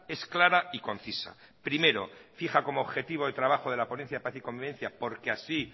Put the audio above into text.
es clara y concisa primero fija como objetivo de trabajo de la ponencia paz y convivencia porque así